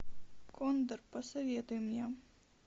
кондор посоветуй мне